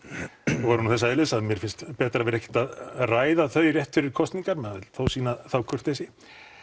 voru nú þess eðlis að mér finnst betra að vera ekkert að ræða þau rétt fyrir kosningar maður vill þó sýna þá kurteisi